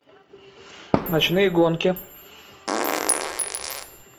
ночные гонки